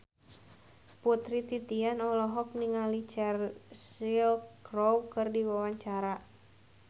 Putri Titian olohok ningali Cheryl Crow keur diwawancara